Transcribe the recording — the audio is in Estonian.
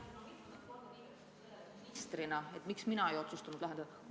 Miks mina ministrina ei otsustanud olukorda lahendada?